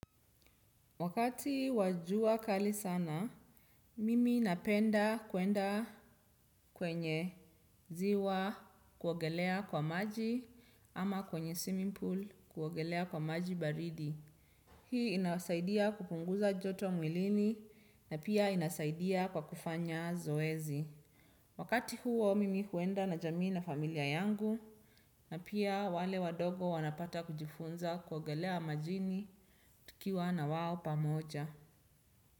Wakati wa jua kali sana, mimi napenda kuenda kwenye ziwa kuogelea kwa maji ama kwenye swimming pool kuogelea kwa maji baridi. Hii inasaidia kupunguza joto mwilini na pia inasaidia kwa kufanya zoezi. Wakati huo mimi huenda na jamii na familia yangu na pia wale wadogo wanapata kujifunza kuogelea majini tukiwa na wao pamoja.